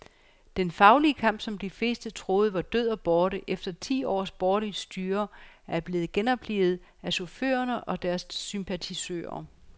Den faglige kamp, som de fleste troede var død og borte efter ti års borgerligt styre, er blevet genoplivet af chaufførerne og deres sympatisører.